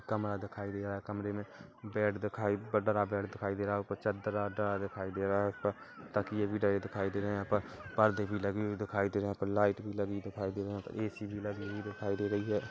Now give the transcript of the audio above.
एक कमरा दिखाई दे रहा है कमरे में बेड दिखाई दे रहा है ऊपर चादर दिखाई दे रहा है ऊपर तकिये भी लगे दिखाई दे रहा है यहाँ पर परदे भी लगे हुए दिखाई दे रहे है यहाँ पर लाइट भी लगी हुई दिखाई दे रही है ए_सी भी लगी हुई दिखाई दे रही है।